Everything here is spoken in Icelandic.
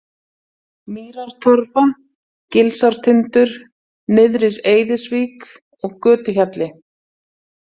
Mýrartorfa, Gilsártindur, Nyrðri-Eiðisvík, Götuhjalli